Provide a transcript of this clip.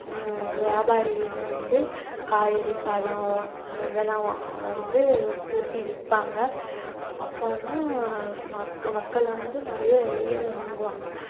ஹம் வியாபாரிகள்லாம் வந்து காய்கறி, பழம் ஆஹ் இதெல்லாம் வ~ வந்து கூட்டி விப்பாங்க அப்ப வந்து ஹம் மக்க~ மக்கள் வந்து நிறைய வாங்குவாங்க